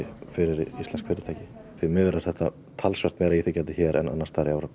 fyrir íslensk fyrirtæki því miður er þetta talsvert meira íþyngjandi hér en annars staðar í Evrópu